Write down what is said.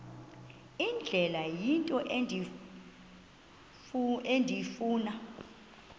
indlela into endifuna